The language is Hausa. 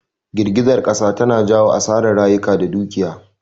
Jirgizar kasa tana jawo asarar rayuka da dukiya